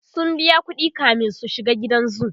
sun biya ƙuɗi kamin su shiga gidan zoo